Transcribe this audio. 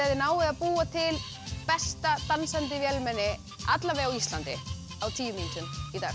þið náið að búa til besta dansandi vélmenni allavega á Íslandi á tíu mínútum